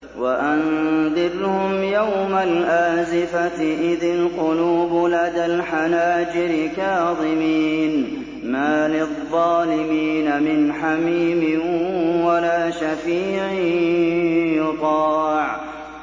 وَأَنذِرْهُمْ يَوْمَ الْآزِفَةِ إِذِ الْقُلُوبُ لَدَى الْحَنَاجِرِ كَاظِمِينَ ۚ مَا لِلظَّالِمِينَ مِنْ حَمِيمٍ وَلَا شَفِيعٍ يُطَاعُ